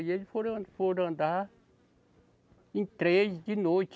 E eles foram an, foram andar em três de noite.